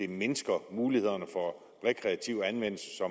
det mindsker mulighederne for rekreativ anvendelse til